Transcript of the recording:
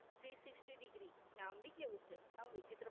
Three Sixty degree નામ ભી કેવું છે વિચિત્ર